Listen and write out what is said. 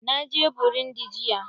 Na je burundi jiya.